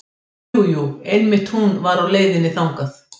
Jú, jú einmitt hún var á leiðinni þangað.